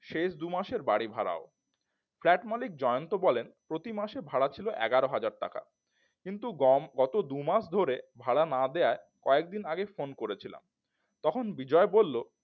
শেষ দু মাসের বাড়িভাড়াও flat মালিক জয়ন্ত বলেন প্রতিমাসে ভাড়া ছিল এগারো হাজার টাকা। গত দু মাস ধরে ভাড়া না দেওয়ায় কয়েকদিন আগেই ফোন করেছিলাম। তখন বিজয় বলল